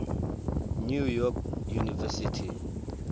new york university